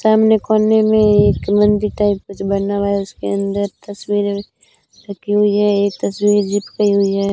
सामने कोने में एक मंदिर टाइप कुछ बना हुआ है उसके अंदर तस्वीर रखी हुई है एक तस्वीर जीप कइ हुई है।